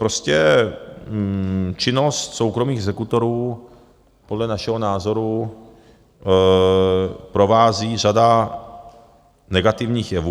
Prostě činnost soukromých exekutorů podle našeho názoru provází řada negativních jevů.